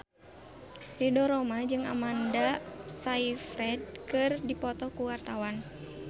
Ridho Roma jeung Amanda Sayfried keur dipoto ku wartawan